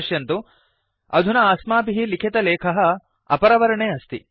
पश्यन्तु अधुना अस्माभिः लिखितलेखः अपरवर्णे अस्ति